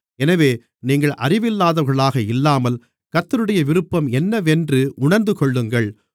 எனவே நீங்கள் அறிவில்லாதவர்களாக இல்லாமல் கர்த்தருடைய விருப்பம் என்னவென்று உணர்ந்துகொள்ளுங்கள்